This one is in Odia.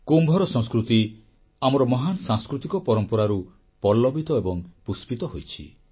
କୁମ୍ଭର ସଂସ୍କୃତି ଆମର ମହାନ ସାଂସ୍କୃତିକ ପରମ୍ପରାରୁ ପଲ୍ଲବିତ ଏବଂ ପୁଷ୍ପିତ ହୋଇଛି